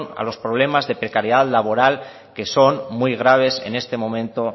a los problemas de precariedad laboral que son muy graves en este momento